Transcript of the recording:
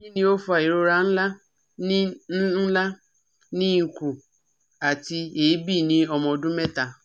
Kini o fa irora nla ni nla ni ikun, ati eebi ni ọmọ ọdun mẹta?